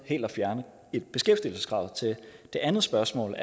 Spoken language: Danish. helt at fjerne beskæftigelseskravet til det andet spørgsmål